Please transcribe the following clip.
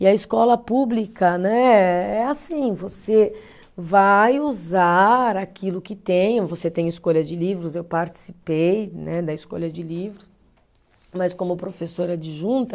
E a escola pública né, é assim, você vai usar aquilo que tem, você tem escolha de livros, eu participei né, da escolha de livros, mas como professora adjunta